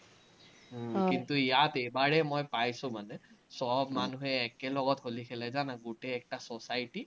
ইয়াত এইবাৰে মই পাইছো মানে, চব মানুহে একেলগত হলি খেলে জানা, গোটেই একটা society